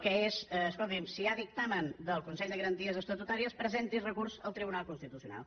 que és escolti’m si hi ha dictamen del consell de garanties estatutàries presenti’s recurs al tribunal constitucional